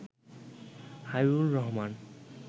Habibur Rahman